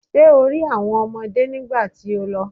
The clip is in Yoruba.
Ṣé o rí àwọn ọmọdé nígbà tí o lọ?